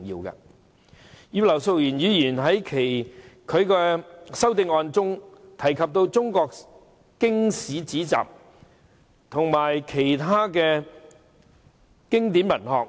葉劉淑儀議員在其修正案中提及中國經史子集和其他經典文學。